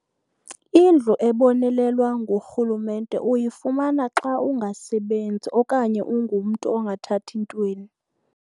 Indlu ezibonelelwa ngurhulumente uyifumana xa ungasebenzi okanye ungumntu ongathathi ntweni.